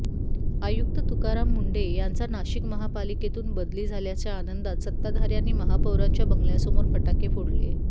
आयुक्त तुकाराम मुंढे यांचा नाशिक महापालिकेतून बदली झाल्याच्या आनंदात सत्ताधाऱ्यांनी महापौरांच्या बंगल्यासमोर फटाके फोडले